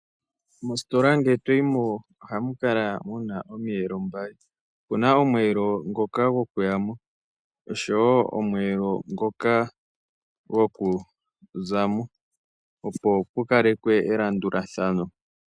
Mositola ngele to yi mo ohamu kala mu na omiyelo mbali opu na omweelo gwokuya mo noshowo gokuza mo, opo pu kalekwe elandulathano.